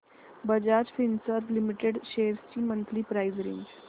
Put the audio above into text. Bajaj Finserv limited shares ची monthly price range